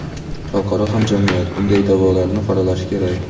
xalqaro hamjamiyat bunday da’volarni qoralashi kerak.